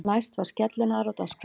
Næst var skellinaðra á dagskrá.